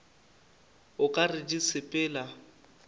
o ka re di sepela